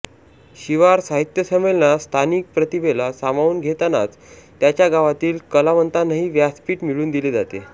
शिवार साहित्य संमेलनात स्थानिक प्रतिभेला सामावून घेतानाच त्यात्या गावातील कलावंतांनाही व्यासपीठ मिळवून दिले जाते